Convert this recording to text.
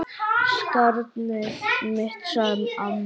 Skarnið mitt, sagði amma.